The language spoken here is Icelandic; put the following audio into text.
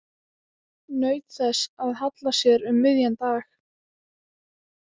Naut þess að halla sér um miðjan dag.